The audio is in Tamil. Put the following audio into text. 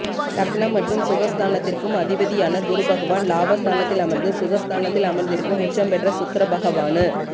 லக்னம் மற்றும் சுக ஸ்தானத்திற்கும் அதிபதியான குருபகவான் லாப ஸ்தானத்தில் அமர்ந்து சுக ஸ்தானத்தில் அமர்ந்திருக்கும் உச்சம் பெற்ற சுக்கிரபகவானு